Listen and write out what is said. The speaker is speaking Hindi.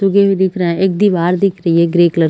--तूगे भी दिख रहा है एक दिवार दिख रही है ग्रे कलर की--